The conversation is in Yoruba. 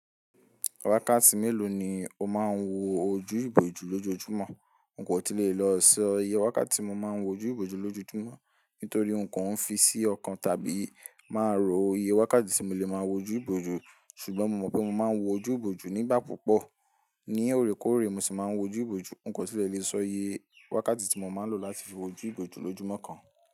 Wákàtí mélòó ni o máa ń wo ojú ìbòjú lójoojúmọ́? N kò tí lè lọ sọ iye wákàtí mo máa ń wo ojú ìbòjú lójoojúmọ́, nítorí n kò ń fi sí ọkàn tàbí máa rò iye wákàtí tí mo lè máa ń wo ojú ìbòjú, ṣùgbọ́n mo mọ̀ pé mo máa ń wo ojú ìbòjú nígbà púpọ̀. Ní òrékòóré mo sì máa ń wo ojú ìbòjú, n kò sì lè le sọ iye wákàtí tí mo máa ń lò láti fi wo ojú ìbòjú lójúmọ́ kan.